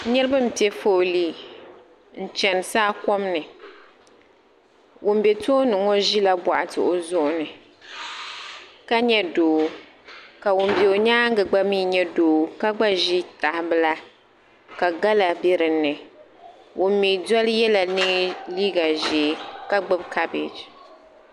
Nitaba n pie foolii n chani saakom ni. ŋun be tooni ŋo ʒila boɣati o zuɣu ni ka nye doo ka ŋun be o nyaaŋa gba nye doo ka gba ʒi tahaibila ka gala be dini. Ŋun me doli yela liiga ʒee ka gbubi kabeg